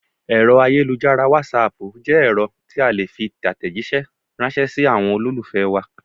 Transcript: Èrọ ayélujára wàsaapu jẹ́ ẹ̀rọ tí a le fi tatẹ̀jisẹ́ ransẹ́ si àwọn olólùfẹ́ wa